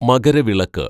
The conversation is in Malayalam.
മകരവിളക്ക്‌